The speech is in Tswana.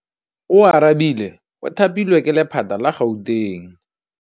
Oarabile o thapilwe ke lephata la Gauteng.